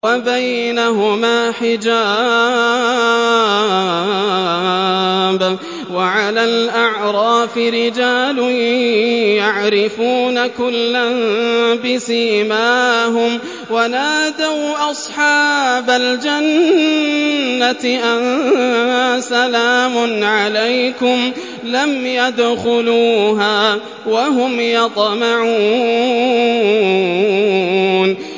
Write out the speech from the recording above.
وَبَيْنَهُمَا حِجَابٌ ۚ وَعَلَى الْأَعْرَافِ رِجَالٌ يَعْرِفُونَ كُلًّا بِسِيمَاهُمْ ۚ وَنَادَوْا أَصْحَابَ الْجَنَّةِ أَن سَلَامٌ عَلَيْكُمْ ۚ لَمْ يَدْخُلُوهَا وَهُمْ يَطْمَعُونَ